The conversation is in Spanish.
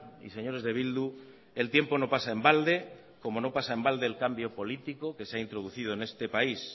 y señores de bildu el tiempo no pasa en balde como no pasa en balde el cambio político que se ha introducido en este país